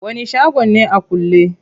Wani shago ne a kulle?